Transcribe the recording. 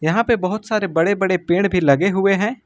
यहां पे बहोत सारे बड़े बड़े पेड़ भी लगे हुए हैं।